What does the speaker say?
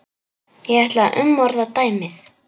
Ég ætla að umorða dæmið.